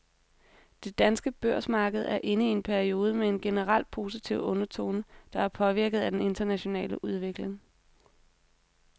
Det danske børsmarked er inde i en periode med en generelt positiv undertone, der er påvirket af den internationale udvikling.